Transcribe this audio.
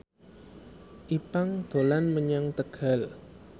Ipank dolan menyang Tegal